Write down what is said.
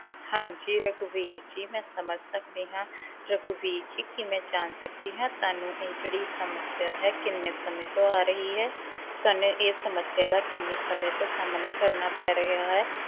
ਹਾਂਜੀ ਰਘਵੀਰ ਜੀ ਮੈਂ ਸਮਝ ਸਕਦੀ ਹਾਂ ਰਘਵੀਰ ਜੀ ਕੀ ਮੈ ਜਾਣ ਸਕਦੀ ਹਾਂ ਤੁਹਾਨੂੰ ਇਹ ਜਿਹੜੀ ਸਮੱਸਿਆ ਹੈ ਕਿੰਨੇ ਸਮੇਂ ਤੋਂ ਆ ਰਹੀ ਹੈ ਤੁਹਾਨੂੰ ਇਹ ਸਮੱਸਿਆ ਦਾ ਕਿੰਨੇ ਸਮੇਂ ਤੋਂ ਸਾਹਮਣਾ ਕਰਨਾ ਪੈ ਰਿਹਾ ਹੈ?